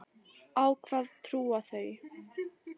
Á hvað trúa þau?